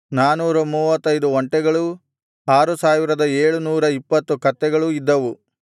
ನಾನೂರ ಮೂವತ್ತೈದು ಒಂಟೆಗಳೂ ಆರು ಸಾವಿರದ ಏಳು ನೂರ ಇಪ್ಪತ್ತು ಕತ್ತೆಗಳೂ ಇದ್ದವು